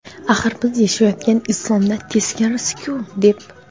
Axir, biz yashayotgan "islom"da teskarisiku, deb.